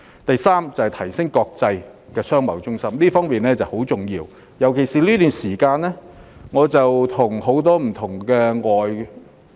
第三，提升香港國際商貿中心的地位，這方面十分重要，尤其是在最近這段時間。